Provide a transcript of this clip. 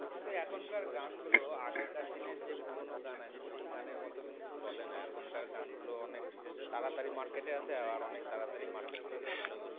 কিন্তু এখনকার গানগুলো আগেকার দিনের যে পুরনো গান আছে সেই গানের মতন চলে না এখনকার গানগুলো অনেক তাড়াতাড়ি market এ আসে আর অনেক তাড়াতাড়ি market থেকে চলেও যায়